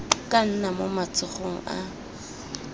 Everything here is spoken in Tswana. ka nna mo matsogong a